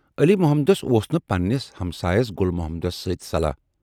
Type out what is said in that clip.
علی محمدس اوس نہٕ پنہٕ نِس ہمسایَس گُل محمدس سۭتۍ صلاح۔